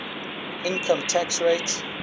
income tax rate